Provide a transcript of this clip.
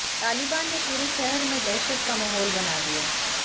तालिबान ने पूरे शहर में दहशत का माहौल बना दिया